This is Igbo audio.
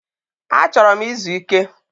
Achoro m izu Ike